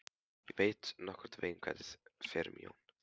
Ég veit nokkurn veginn hvernig fer um Jón.